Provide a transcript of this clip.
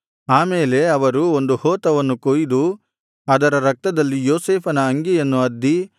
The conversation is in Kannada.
ಆ ಮೇಲೆ ಅವರು ಒಂದು ಹೋತವನ್ನು ಕೊಯ್ದು ಅದರ ರಕ್ತದಲ್ಲಿ ಯೋಸೇಫನ ಅಂಗಿಯನ್ನು ಅದ್ದಿ